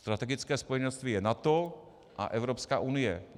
Strategické spojenectví je NATO a Evropská unie.